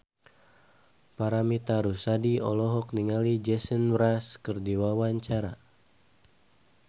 Paramitha Rusady olohok ningali Jason Mraz keur diwawancara